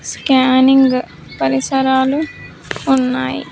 Scanning పరిసరాలు ఉన్నాయి.